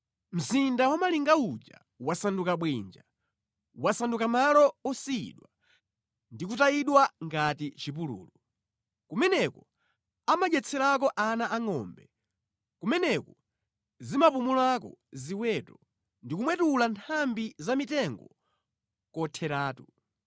Mzinda wamalinga uja wasanduka bwinja, wasanduka malo osiyidwa, ndi kutayidwa ngati chipululu; kumeneko amadyetselako ana angʼombe kumeneko zimapumulako ziweto ndi kumwetula nthambi za mitengo kotheratu.